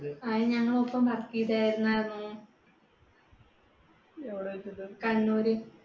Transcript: അത് ഞങ്ങളുടെ ഒപ്പം work ചെയ്തിരുന്ന എവിടെവെച്ച്ട്ടാ കണ്ണൂര്